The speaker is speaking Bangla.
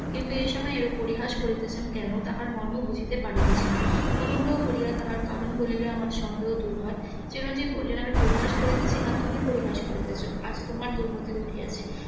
কিন্তু এই সময় এইরূপ পরিহাস করিতেছেন কেন তাহার মর্ম বুঝিতে পারিতেছি না অনুগ্রহ করিয়া তাহার কারণ বলিলে আমার সন্দেহ দূর হয় চিরঞ্জিব বলিলেন আমি পরিহাস করিতেছি না তুমি পরিহাস করিতেছ আজ তোমার .